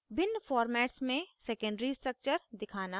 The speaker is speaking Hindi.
* भिन्न formats में secondary structure दिखाना